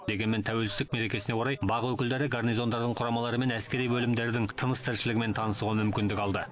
дегенмен тәуелсіздік мерекесіне орай бақ өкілдері гарнизондардың құрамалары мен әскери бөлімдердің тыныс тіршілігімен танысуға мүмкіндік алды